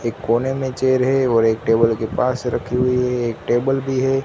एक कोने में चेयर है और एक टेबल के पास रखी हुई है एक टेबल भी है।